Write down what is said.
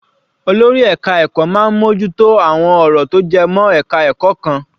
Olórí ẹka ẹ̀kọ́ máa ń mú ojú tó àwọn ọ̀rọ̀ tó jẹ mọ́ ẹka ẹ̀kọ́ kan.